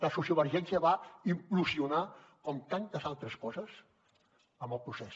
la sociovergència va implosio nar com tantes altres coses amb el procés